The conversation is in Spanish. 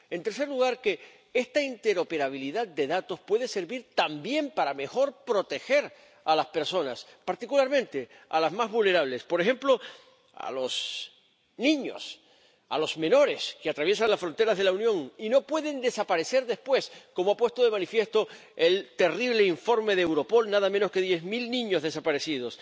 En tercer lugar, que esta interoperabilidad de datos puede servir también para proteger mejor a las personas, particularmente a las más vulnerables, por ejemplo, a los niños, a los menores que atraviesan las fronteras de la Unión y no pueden desaparecer después, como ha puesto de manifiesto el terrible informe de Europol —nada menos que diez mil niños desaparecidos—.